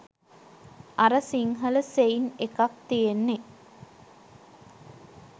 අර සිංහල සෙයින් එකක් තියෙන්නේ